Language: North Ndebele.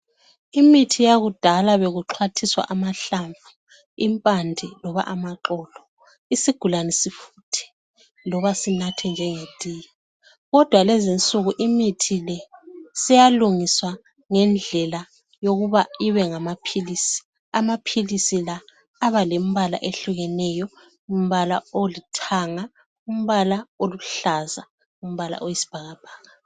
Imithi yakudala bekuxhwathiswa amahlamvu, impande loba amaxolo isigulane sifuthe loba sinathe njenge tiye, kodwa lezi nsuku imithi le seyalungiswa ngendlela yokuba ibengamaphilisi, amaphilisi la abalembala ehlukeneyo umbala olithanga, umbala oluhlaza, umbala oyisibhakabhaka.